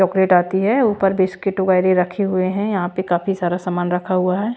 Chocolate आती है ऊपर बिस्किट वगैरह रखे हुए हैं यहां पे काफी सारा सामान रखा हुआ हैं।